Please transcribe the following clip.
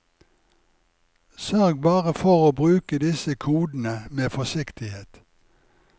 Sørg bare for å bruke disse kodene med forsiktighet.